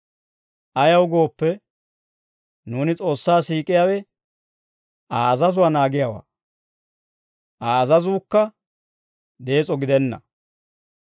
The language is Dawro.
Ayaw gooppe, nuuni S'oossaa siik'iyaawe Aa azazuwaa naagiyaawaa; Aa azazuukka dees'o gidenna.